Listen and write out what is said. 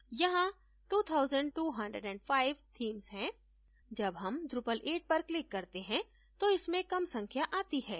यहाँ 2205 themes हैं जब हम drupal 8 पर click करते हैं तो इसमें कम संख्या आती है